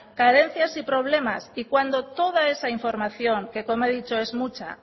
carencias y problemas y cuando toda esa información que como he dicho es mucha